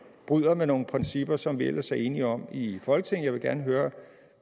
bryder med nogle principper som vi ellers er enige om i folketinget jeg vil gerne høre